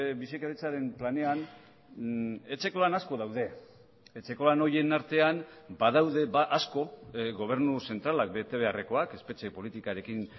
bizikidetzaren planean etxeko lan asko daude etxeko lan horien artean badaude asko gobernu zentralak betebeharrekoak espetxe politikarekin